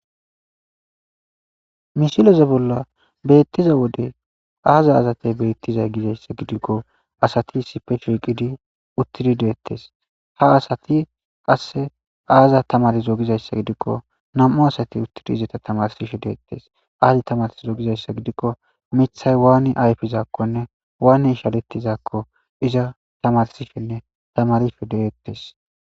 misileze bolla beettiza wode aaza azatey beettizay gizayssa gidikko asati sipe shiqidi uttidi deettes ha asati qasse aaza tamarzoo gizayssa gidikko nam7u asati uttidi izata tamarsishe deettes aazi tamarsi zogizayssa gidikko mithay waani ayfizaakkonne waani ishalettizaakko iza tamarsishenne tamarishe deettes